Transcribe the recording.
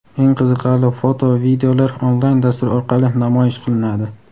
Eng qiziqarli foto va videolar onlayn dastur orqali namoyish qilinadi!.